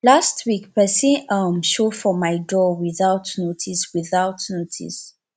last week pesin um just show for my door without notice without notice